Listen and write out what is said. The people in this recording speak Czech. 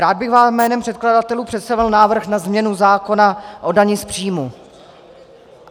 Rád bych vám jménem předkladatelů představil návrh na změnu zákona o dani z příjmu.